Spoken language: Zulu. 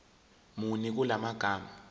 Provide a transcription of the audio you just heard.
muni kula magama